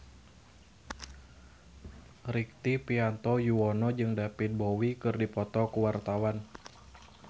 Rektivianto Yoewono jeung David Bowie keur dipoto ku wartawan